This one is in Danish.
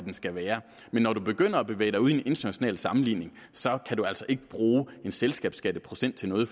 skal være men når du begynder at bevæge dig ud i en international sammenligning kan du altså ikke bruge en selskabsskatteprocent til noget